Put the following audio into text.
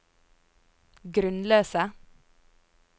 grunnløse